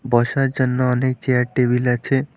বসার জন্য অনেক চেয়ার টেবিল আছে।